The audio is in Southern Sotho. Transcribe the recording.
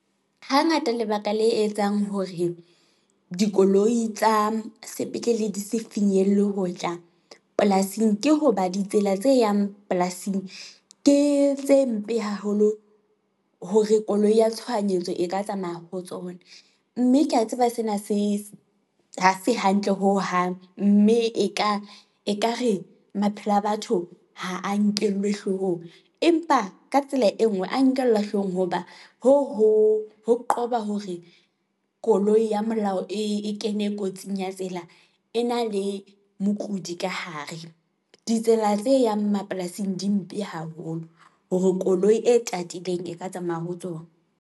Hangata lebaka le etsang hore dikoloi tsa sepetlele di se finyelle hotla polasing, ke hoba ditsela tse yang polasing ke tse mpe haholo hore koloi ya tshohanyetso e ka tsamaya ho tsona, mme ke ya tseba hore sena ha se hantle hohang, mme ekare maphelo a batho ha a nkellwe hloohong, empa ka tsela e nngwe a nkellwa hlohong hoba hoo ho qoba hore koloi ya molao e kene kotsing ya tsela, e na le mokudi ka hare. Ditsela tse yang mapolasing di mpe haholo, hore koloi e tatileng e ka tsamaya ho tsona.